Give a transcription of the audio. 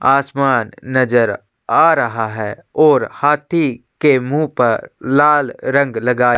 आसमान नज़र आ रहा रहा है और हाथी के मुँह पर लाल रंग लगाया--